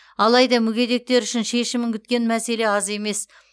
алайда мүгедектер үшін шешімін күткен мәселе аз емес